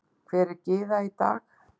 Hver er Gyða í dag?